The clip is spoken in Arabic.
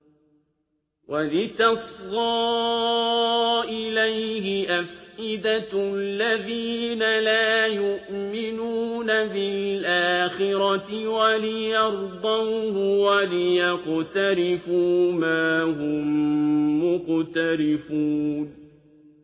وَلِتَصْغَىٰ إِلَيْهِ أَفْئِدَةُ الَّذِينَ لَا يُؤْمِنُونَ بِالْآخِرَةِ وَلِيَرْضَوْهُ وَلِيَقْتَرِفُوا مَا هُم مُّقْتَرِفُونَ